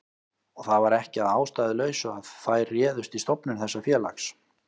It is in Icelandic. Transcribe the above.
Og það var ekki að ástæðulausu að þær réðust í stofnun þessa félags.